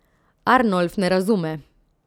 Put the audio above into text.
Arnolf ne razume.